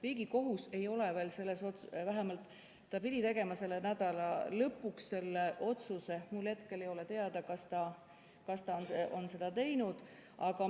Riigikohus pidi tegema selle nädala lõpuks otsuse, aga ma hetkel ei tea, kas ta on seda teinud.